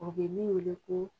u bɛ min wele ko